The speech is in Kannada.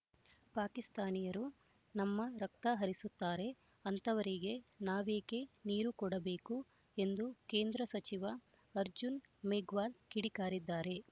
ಪಾಕಿಸ್ತಾನಿಯರು ನಮ್ಮ ರಕ್ತ ಹರಿಸುತ್ತಾರೆ ಅಂತವರಿಗೆ ನಾವೇಕೆ ನೀರು ಕೊಡಬೇಕು ಎಂದು ಕೇಂದ್ರ ಸಚಿವ ಅರ್ಜುನ್ ಮೇಘ್ವಾಲ್ ಕಿಡಿಕಾರಿದ್ದಾರೆ